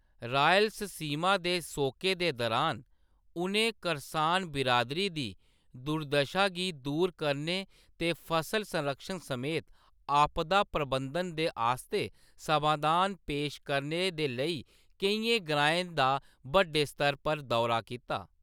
रालयसीमा दे सोके दे दुरान, उʼनें करसान बिरादरी दी दुर्दशा गी दूर करने ते फसल संरक्षण समेत आपदा प्रबंधन दे आस्तै समाधान पेश करने दे लेई केइयें ग्राएं दा बड्डे स्तर पर दौरा कीता।